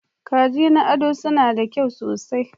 Kaji na ado suna da kyau sosai.